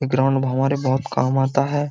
ये ग्राउन्ड हमारे बहुत काम आता है।